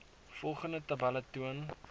volgende tabelle toon